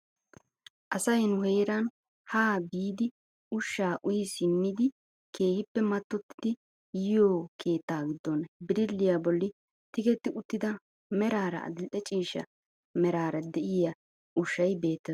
Asay nu heeran ha biidi ushshaa uyi simmidi keehippe mattottiidi yiyoo keettaa giddon birilliyaa bolli tigetti uttida meraara adil'e ciishsha merara de'iyaa ushshay beettes.